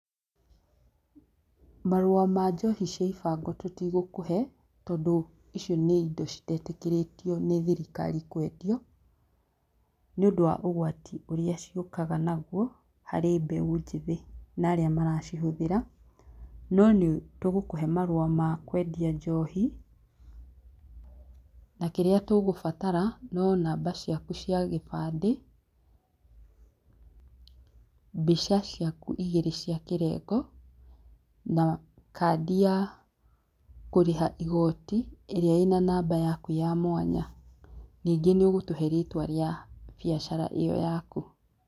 Marũa ma njohi cia ibango tutigũkũhe, tondũ icio nĩ indo citetĩkĩrĩtio nĩ thirikari kwendio, nĩũndũ wa ũgwati ũrĩa ciũkaga naguo, harĩ mbeũ njĩthi na arĩa maracihũthĩra. No nĩtũgũkũhe marũa ma kwendia njohi, na kĩrĩa tũkũbatara no namba ciaku cia gĩbandĩ, mbica ciaku igĩrĩ cia kĩrengo, na kandi ya kũrĩha igoti, ĩrĩa ina namba yaku ya mwanya. Nĩngĩ nĩũgũtũhe rĩtwa rĩa biacara ĩyo yaku.